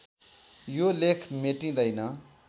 यो लेख मेटिँदैन